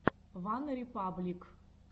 ван репаблик